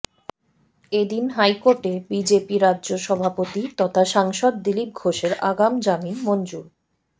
এদিন হাইকোর্টে বিজেপি রাজ্য সভাপতি তথা সাংসদ দিলীপ ঘোষের আগাম জামিন মঞ্জুর